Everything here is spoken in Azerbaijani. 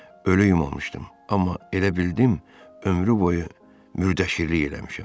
Ölü yumamışdım, amma elə bildim ömrü boyu müdərşirlik eləmişəm.